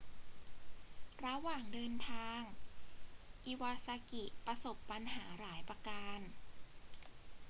ระหว่างเดินทาง อิวาซากิประสบปัญหาหลายประการ